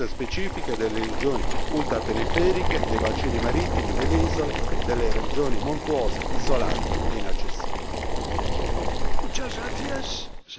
nonché l'evidenza data dalle esigenze specifiche delle regioni ultraperiferiche, dei bacini marittimi, delle isole, delle regioni montuose, isolate e inaccessibili.